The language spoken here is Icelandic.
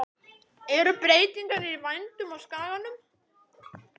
Eru breytingar í vændum á skaganum?